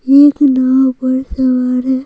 एक नाव पर सवार है।